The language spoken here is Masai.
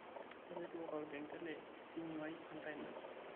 tapasali tipika olkengele e simu aai enkaina